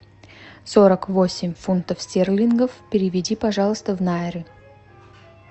сорок восемь фунтов стерлингов переведи пожалуйста в найры